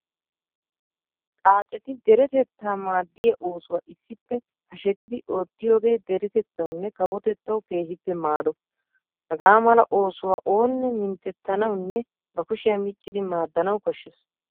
Xaaceti deretettaa maaddiyaa oosuwaa issippe hashsettidi oottiyoogee deretettawunne kawotettawu keehippe maado. Hagaa mala oosuwaa oonne minttettanawunne ba kushiyaa miccidi maaddanawu koshshes.